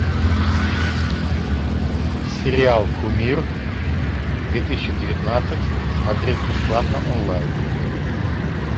сериал кумир две тысячи девятнадцать смотреть бесплатно онлайн